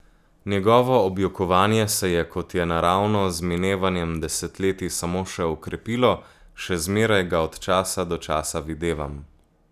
Njegovo objokovanje se je, kot je naravno, z minevanjem desetletij samo še okrepilo, še zmeraj ga od časa do časa videvam.